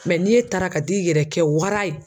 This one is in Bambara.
ni e taara ka t'i yɛrɛ kɛ wara ye